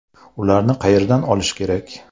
Ularni qayerdan olish kerak?